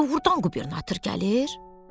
Doğrudan qubernator gəlir?